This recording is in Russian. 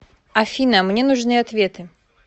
афина мне нужны ответы